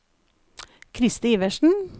Kristi Iversen